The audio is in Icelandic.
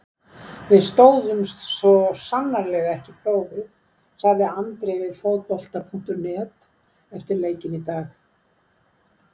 Við stóðumst svo sannarlega ekki prófið, sagði Andri við Fótbolta.net eftir leikinn í dag.